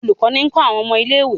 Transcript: Olùkó ní ń kó àwọn ọmọ ilé-ìwé.